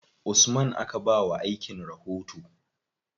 Usman aka ba wa aikin rahoto.